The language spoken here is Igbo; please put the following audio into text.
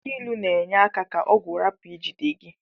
Aki ilu n'enye aka ka ọgwu rapu ijide gi.